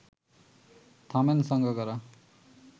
থামেন সাঙ্গাকারা